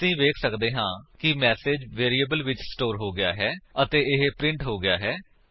ਅਸੀ ਵੇਖ ਸੱਕਦੇ ਹਾਂ ਕਿ ਮੇਸੇਜ ਵੇਰਿਏਬਲ ਵਿੱਚ ਸਟੋਰ ਹੋ ਗਿਆ ਹੈ ਅਤੇ ਇਹ ਪ੍ਰਿੰਟ ਹੋ ਗਿਆ ਹੈ